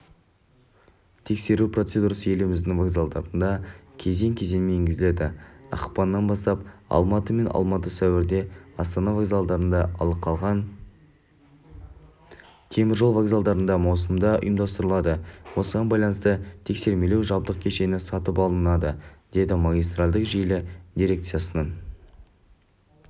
тексеру процедурасы еліміздің вокзалдарында кезең-кезеңмен енгізіледі ақпаннан бастап алматы мен алматы сәуірде астана вокзалында ал қалған